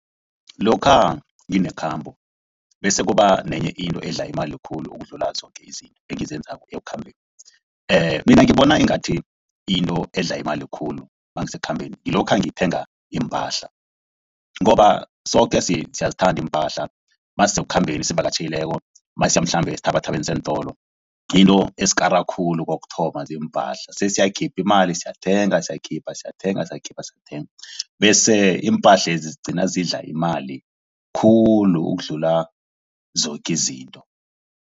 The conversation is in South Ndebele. Lokha nginekhambo bese kuba nenye into edla imali khulu ukudlula zoke izinto engizenzako ekukhambeni. Mina ngibona ingathi into edla imali khulu nangise kukhambeni kulokha ngithenga iimpahla, ngoba soke siyazithanda iimpahla masisekukhambeni sivakatjhileko masiye mhlambe eenthabathabeni zeentolo. Into esikara khulu kokuthoma ziimpahla sesiyakhipha imali siyathenga. Sikhipha siyathenga, sikhipha siyathenga bese iimpahlezi zigcina zidla imali khulu ukudlula zoke izinto.